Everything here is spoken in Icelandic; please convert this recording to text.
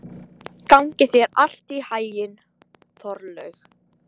Gangi þér allt í haginn, Þorlaug.